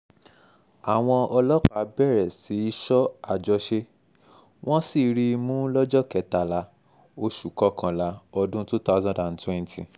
àwọn ọlọ́pàá bẹ̀rẹ̀ sí í sọ àjọṣe wọ́n sì rí i mú lọ́jọ́ kẹtàlá oṣù kọkànlá ọdún twothousand and twenty